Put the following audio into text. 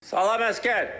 Salam əsgər!